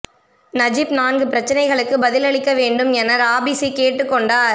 Najib நான்கு பிரச்னைகளுக்குப் பதில் அளிக்க வேண்டும் என ராபிஸி கேட்டுக் கொண்டார்